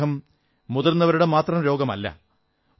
പ്രമേഹം മുതിർന്നവരുടെ മാത്രം രോഗമല്ല